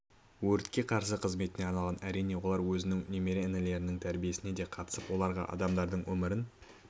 өртке қарсы қызметіне арнаған әрине олар өз немере інілерінің тәрбиесіне де қатысып оларға адамдардың өмірін